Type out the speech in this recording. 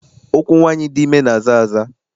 Ụkwụ nwaanyị dị ime na-aza aza.